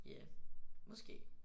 Ja. Måske